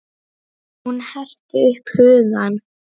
Hún herti upp hugann.